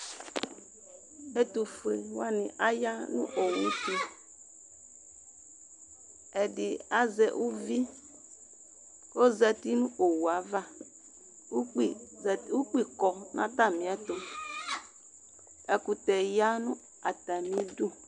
Ɛtʋfueni wani ya nʋ owu tʋ Ɛdi azɛ uvi k'ozati nʋ owu yɛ ava, ukpi zati, ukpi kɔ n'atamiɛtʋ, ɛkʋtɛ ya nʋ atamidu